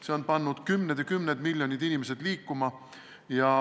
See on pannud kümned ja kümned miljonid inimesed liikuma.